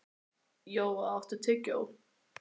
Jóa, áttu tyggjó?